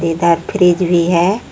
और फ्रिज भी है।